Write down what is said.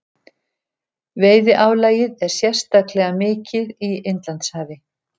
Veiðiálagið er sérstaklega mikið í Indlandshafi.